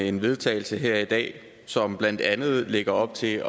en vedtagelse her i dag som blandt andet lægger op til at